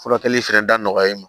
Furakɛli fɛnɛ da nɔgɔya i ma